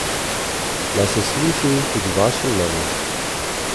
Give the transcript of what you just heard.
Naj se sliši tudi vaše mnenje!